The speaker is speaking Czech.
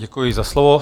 Děkuji za slovo.